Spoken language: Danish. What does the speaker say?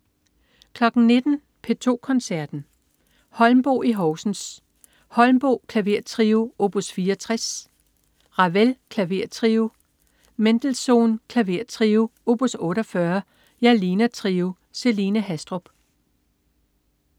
19.00 P2 Koncerten. Holmboe i Horsens. Holmboe: Klavertrio op. 64. Ravel: Klavertrio. Mendelssohn: Klavertrio op. 48. Jalina Trio. Celine Haastrup